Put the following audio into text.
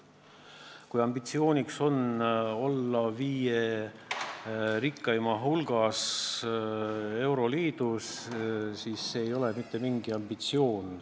Kui ambitsiooniks on olla euroliidus viie rikkaima hulgas, siis see ei ole mitte mingi ambitsioon.